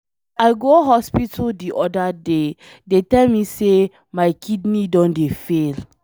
I go hospital the other day, dey tell me say my kidney Don dey fail.